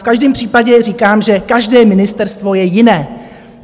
V každém případě říkám, že každé ministerstvo je jiné.